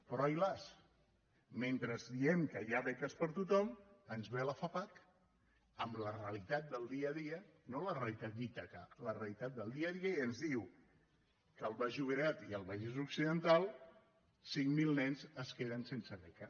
però ai las mentre diem que hi ha beques per a tothom ens ve la fapac amb la realitat del dia a dia no la realitat d’ítaca la realitat del dia a dia i ens diu que al baix llobregat i al vallès occidental cinc mil nens es queden sense beca